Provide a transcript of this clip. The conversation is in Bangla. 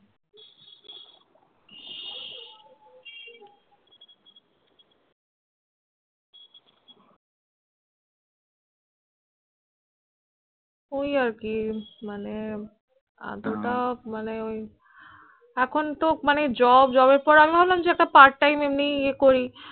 ওই আর কি মানে এতটা মানে ওই এখন তো মানে, job job এর পর আমি ভাবলাম একটা part time এমনি এ করি